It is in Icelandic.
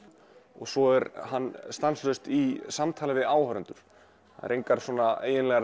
og svo er hann stanslaust í samtali við áhorfendur það eru engar svona eiginlegar